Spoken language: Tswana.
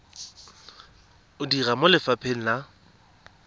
o dira mo lefapheng la